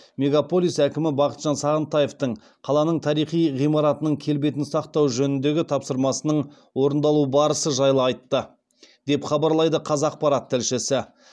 мегаполис әкімі бақытжан сағынтаевтың қаланың тарихи ғимараттарының келбетін сақтау жөніндегі тапсырмасының орындалу барысы жайлы айтты деп хабарлайды қазақпарат тілшісі